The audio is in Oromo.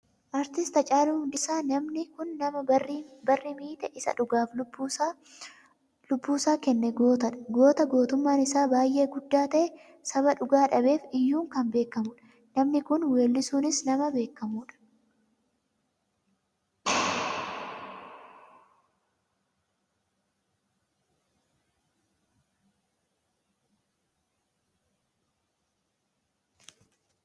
Artist Haacaaluu Hundeessaa, namni kun nama barri miite isa dhugaaf lubbuusaa kenne gootadha. Goota gootummaan isaa baayyee guddaa ta'e saba dhugaa dhabeef iyyuun kan beekkamudha. Namni kun weelluunis nama beekkamudha.